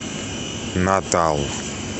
натал